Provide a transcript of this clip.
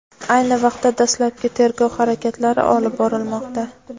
ayni vaqtda dastlabki tergov harakatlari olib borilmoqda.